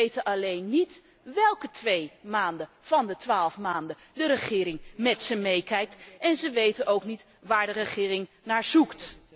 Ze weten alleen niet wélke twee maanden van de twaalf maanden de regering met ze meekijkt en ze weten ook niet waar de regering naar zoekt.